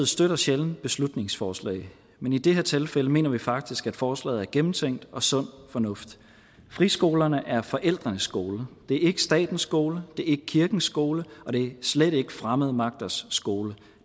støtter sjældent beslutningsforslag men i det her tilfælde mener vi faktisk at forslaget er gennemtænkt og sund fornuft friskolerne er forældrenes skoler det er ikke statens skoler det er ikke kirkens skoler og det er slet ikke fremmede magters skoler